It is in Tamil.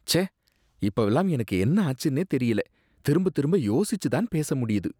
ச்சே, இப்பவெல்லாம் எனக்கு என்னாச்சுனே தெரியல, திரும்பத்திரும்ப யோசிச்சு தான் பேச முடியுது.